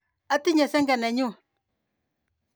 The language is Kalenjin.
Atyenjini senge ne nyu.